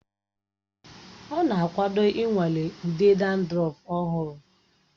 Ọ na-akwado ịnwale ude dandrọf ọhụrụ